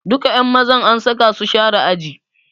Duka ƴan mazan an saka su share ajin.